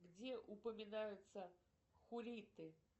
где упоминаются хурриты